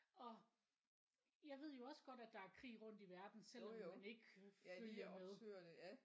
Og jeg ved jo også godt at der er krig rundt i verden selvom man ikke følger med